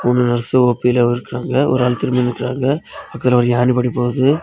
ஒரு நர்சு ஓ_பில இருக்கறாங்க ஒரு ஆள் திரும்பி நிக்கறாங்க பக்கத்துல ஒரு ஏணிப்படி போது.